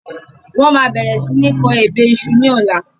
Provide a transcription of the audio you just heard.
Mo máa bẹ̀rẹ̀ si ni kọ ebè iṣu ni ọ̀la